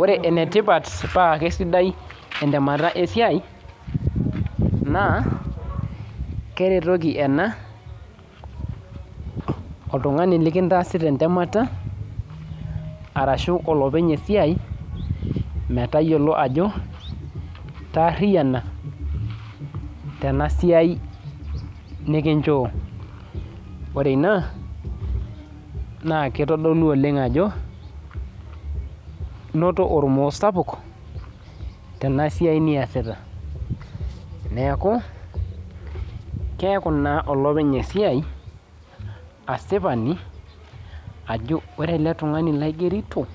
Ore enetipat pakesidai entemata esiai na keretoki ena oltungani likintaasita entemata ashubolopeny esiai metayiolo ajo itaariana tenasiai nikinchoo ore ina na mitadolu olenga ajo inoto ormo sapuk tenasiai niasita neaku keaku na olopeny esiai asipani ajo ore eletungani laigerito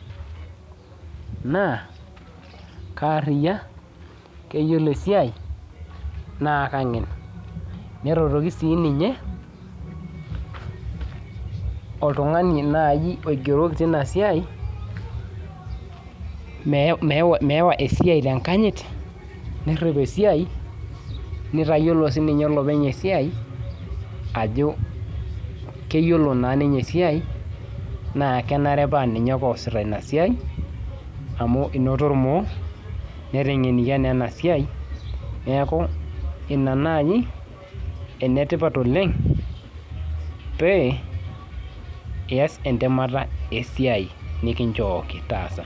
na keariya keyiolo esiai na kengen neretoki si ninye oltungani oigeroki tinasiai meyawa esiaia tenkanyit nerip esiai nitayiolo sinye olopeny esiai ajo keyiolo esiai na kenare pa ninye ake oasita enasiai netegenikia enasia neaku ina nai enetipat oleng pe eias entemata esiai nikinchooki taasa.